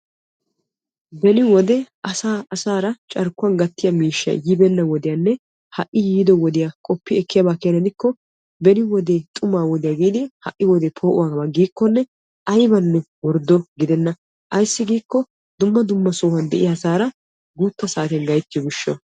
Beni wode asaa asaara carkkuwan gattiya miishshay yibeenna wodiyanne ha"I yiido wodiya qoppi ekkiyaba keena gidikko beni wodee xumaa wodiyaa giidi ha'i wodee poo'o wodiya gidikkonne ayibanne worddo gidenna. Ayissi giikko dumma dumma sohuwan de'iya asaara guutta saatiyan gayittiyo gishshawu.